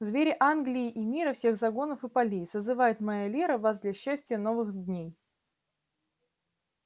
звери англии и мира всех загонов и полей созывает моя лера вас для счастья новых дней